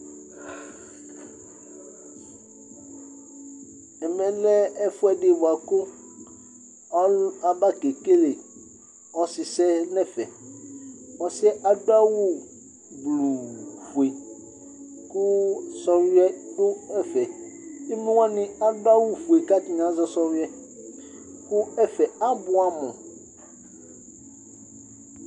Ɛmɛlɛ ɛfʋɛdi bʋakʋ aba kekele ɔsisɛ nʋ ɛfɛ Ɔsi yɛ adu awu blʋu fʋe kʋ sɔwʋiɛ du ɛfɛ Emlowani adu awu fʋe kʋ atani azɛ sɔwʋiɛ kʋ ɛfɛ abʋɛ amu